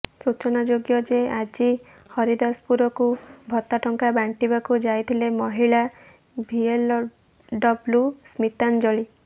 ସୂଚନାଯୋଗ୍ୟ ଯେ ଆଜି ହରିଦାସପୁରକୁ ଭତ୍ତା ଟଙ୍କା ବାଣ୍ଟିବାକୁ ଯାଇଥିଲେ ମହିଳା ଭିଏଲଡବ୍ଲୁ ସ୍ମିତାଞ୍ଜଳି